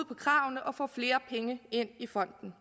på kravene og få flere penge ind i fonden